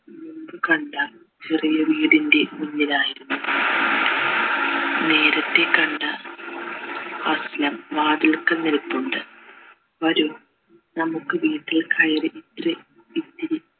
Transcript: കണ്ട ചെറിയ വീടിൻ്റെ മുന്നിലായിരുന്നു നേരത്തെ കണ്ട വാതിൽക്കൽ നിൽപ്പുണ്ട് വരൂ നമ്മുക്ക് വീട്ടിൽ കയറി ഇത്തിരി ഇത്തിരി